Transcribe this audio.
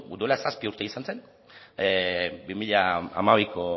duela zazpi urte izan zen bi mila hamabiko